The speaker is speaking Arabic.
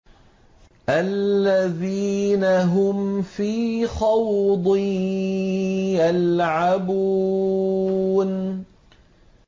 الَّذِينَ هُمْ فِي خَوْضٍ يَلْعَبُونَ